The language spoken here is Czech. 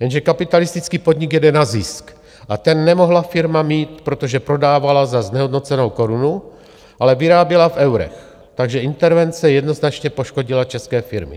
Jenže kapitalistický podnik jede na zisk a ten nemohla firma mít, protože prodávala za znehodnocenou korunu, ale vyráběla v eurech, takže intervence jednoznačně poškodila české firmy.